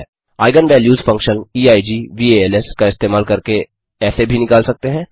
eigen values function eigvals का इस्तेमाल करके ऐसे भी निकाल सकते हैं